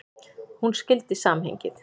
Hún skildi samhengið.